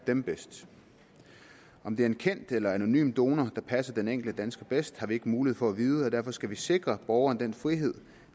dem bedst om det er en kendt eller en anonym donor der passer den enkelte dansker bedst har vi ikke mulighed for at vide og derfor skal vi sikre borgerne den frihed